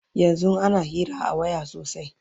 yanzun ana Hira a waya sosai